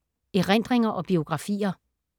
Erindringer og biografier